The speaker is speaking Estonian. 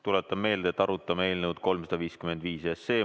Tuletan meelde, et arutame eelnõu 355.